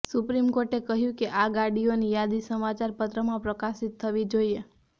supreme કોર્ટે કહ્યુ કે આ ગાડીઓની યાદી સમાચારપત્રમાં પ્રકાશિત થવી જોઈએ